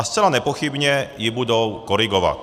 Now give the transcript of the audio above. A zcela nepochybně ji budou korigovat.